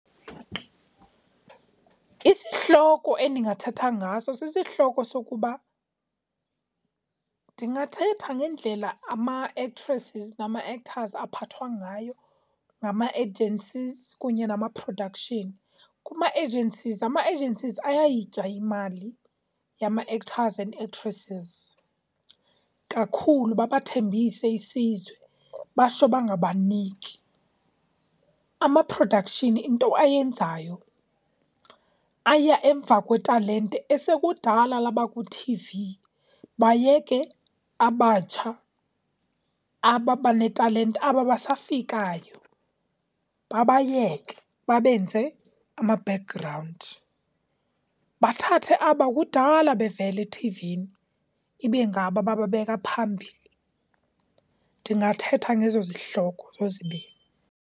Isihloko endingathetha ngaso sisihloko sokuba, ndingathetha ngendlela ama-actresses nama-actors aphathwa ngayo ngama-agencies kunye nama-production. Kuma-agencies ama-agencies ayayitya imali yama-actors and actresses kakhulu. Babathembise isizwe batsho bangabaniki. Ama-production, into ayenzayo aya emva kwetalente esekudala labakwithivi, bayeke abatsha aba banetalente, aba basafikayo babayeke babenze ama-background. Bathathe aba kudala bevela ethivini, ibe ngabo abababeka phambili. Ndingathetha ngezozi hloko zozibini.